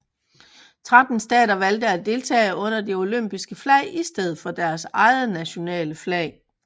Tretten stater valgte at deltage under det olympiske flag i stedet for deres eget nationale flag